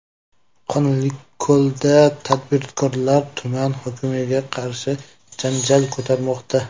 Qonliko‘lda tadbirkorlar tuman hokimiga qarshi janjal ko‘tarmoqda.